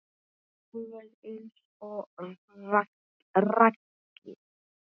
Alveg eins og Raggi.